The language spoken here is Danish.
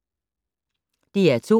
DR2